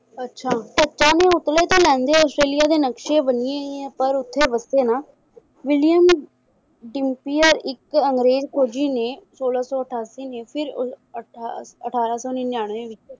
ਅੱਛਾ ਪਤਾਨੀ ਪਰ ਓਥੇ ਵੱਸੇ ਨਾ ਵਿਲੀਅਮ ਡੁਪਿਯਰ ਇਕ ਅੰਗਰੇਜ ਫੌਜੀ ਨੇ ਸੋਲਾਂ ਸੌ ਅਠਾਸੀ ਨੂੰ ਫਿਰ ਉ~ ਅਠਾ~ ਅੱਠ~ ਅਠਾਰਾਂ ਸੌ ਨਿਨਯਾਨਵੇਂ ਵਿਚ